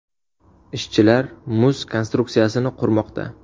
Ishchilar muz konstruksiyasini qurmoqda.